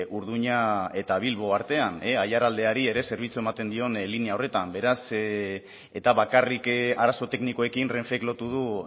urduña eta bilbo artean aiaraldeari ere zerbitzu ematen dion linea horretan beraz eta bakarrik arazo teknikoekin renfek lotu du